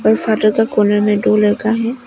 और फादर के कोने में दो लड़का है।